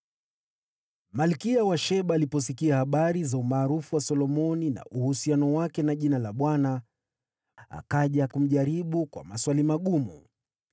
Malkia wa Sheba aliposikia habari za umaarufu wa Solomoni na uhusiano wake na jina la Bwana , akaja kumjaribu kwa maswali magumu.